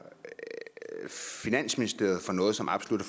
finansministeriet for noget som absolut